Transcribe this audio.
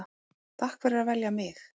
Takk fyrir að velja mig.